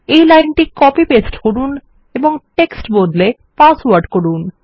এই লাইনটি copy paste করুন এবং টেক্সট বদলে পাসওয়ার্ড করুন